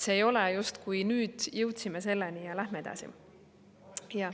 See ei ole nii, et justkui nüüd jõudsime selleni ja läheme edasi.